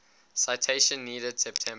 citation needed september